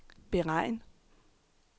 beregn